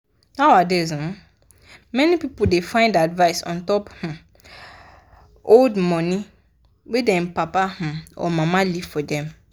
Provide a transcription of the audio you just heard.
nowadays um many people da find advice on how to um hold money wey them papa um or mama leave forr dem